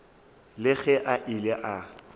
le ge a ile a